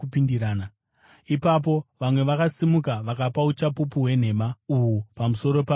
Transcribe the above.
Ipapo vamwe vakasimuka vakapa uchapupu hwenhema uhu pamusoro pake vachiti,